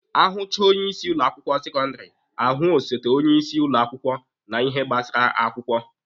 Ahụchaa onye isi ụlọ akwụkwọ sekọndịrị, ahụ osote onye isi ụlọ akwụkwọ na ihe gbasara akwụkwọ.